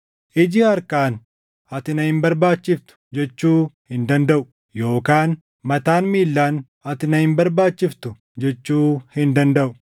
Iji harkaan, “Ati na hin barbaachiftu!” jechuu hin dandaʼu; yookaan mataan miillaan, “Ati na hin barbaachiftu!” jechuu hin dandaʼu.